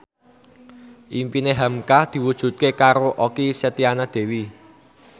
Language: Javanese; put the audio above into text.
impine hamka diwujudke karo Okky Setiana Dewi